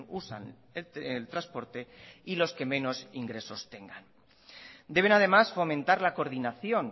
usan el transporte y los que menos ingresos tengan deben además fomentar la coordinación